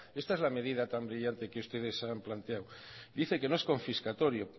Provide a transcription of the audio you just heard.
esta es la medida tan brillante que ustedes han planteado dice que no es confiscatorio